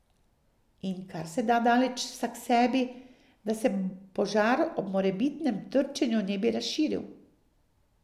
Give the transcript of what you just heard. In karseda daleč vsaksebi, da se požar ob morebitnem trčenju ne bi razširil.